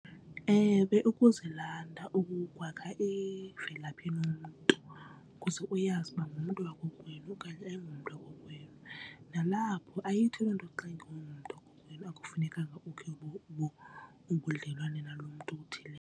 Ewe, ukuzilanda wakha imvelaphi yomntu ukuze uyazi uba ngumntu wakokwenu okanye ayingomntu wakokwenu. Nalapho ayithi loo nto xa engengomntu wakokwenu akufunekanga ukhe ubudlelwane nalo mntu uthile.